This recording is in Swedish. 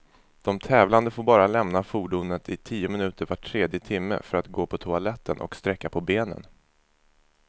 De tävlande får bara lämna fordonet i tio minuter var tredje timme, för att gå på toaletten och sträcka på benen.